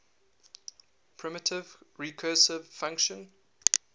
primitive recursive function